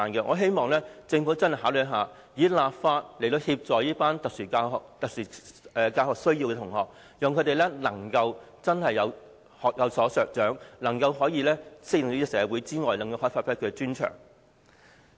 我希望政府會認真考慮，立法協助有特殊教育需要的學生，令他們可以學有所長，適應社會之餘，也能發揮專長。